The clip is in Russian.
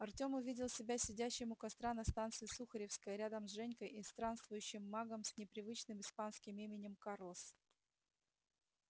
артём увидел себя сидящим у костра на станции сухаревская рядом с женькой и странствующим магом с непривычным испанским именем карлос